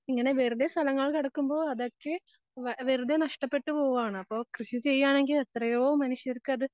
ഇങ്ങനെ വെറുതെ സ്ഥലങ്ങൾ കെടക്കുമ്പോ അതൊക്കെ വാ, വെറുതെ നഷ്ടപ്പെട്ട് പോവാണ്. അപ്പൊ കൃഷി ചെയ്യാണെങ്കിൽ എത്രയോ മനുഷ്യർകത്